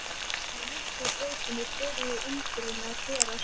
Á Miklubrautinni byrjuðu undrin að gerast.